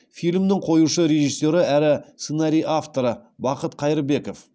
фильмнің қоюшы режиссері әрі сценарий авторы бақыт қайырбеков